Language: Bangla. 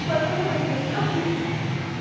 version ও বেরিয়েছিল click